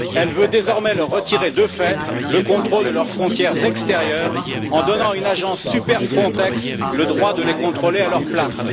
elle veut désormais leur retirer de fait le contrôle de leurs frontières extérieures en donnant à une agence super Frontex le droit de les contrôler à leur place.